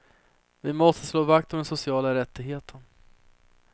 Vi måste slå vakt om den sociala rättigheten.